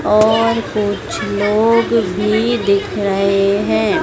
और कुछ लोग भी दिख रहे है।